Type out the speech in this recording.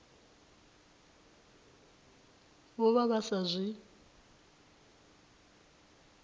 vho vha vha sa zwi